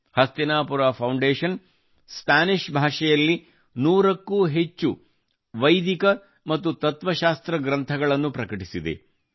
Hastinapur foundation Spanish ಭಾಷೆಯಲ್ಲಿ 100 ಕ್ಕೂ ಅಧಿಕ ವೈದಿಕ ಮತ್ತು ತತ್ವಶಾಸ್ತ್ರ ಗ್ರಂಥಗಳನ್ನು ಪ್ರಕಟಿಸಿದೆ